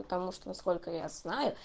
потому что насколько я знаю